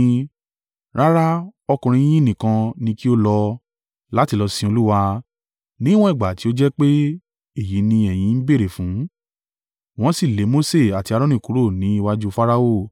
Rárá! Ọkùnrin yín nìkan ni kí ó lọ, láti lọ sin Olúwa, níwọ̀n ìgbà tí ó jẹ́ pé èyí ni ẹ̀yin ń béèrè fún.” Wọ́n sì lé Mose àti Aaroni kúrò ní iwájú Farao.